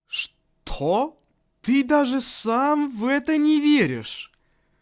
что ты даже сам в это не веришь